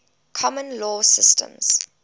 common law systems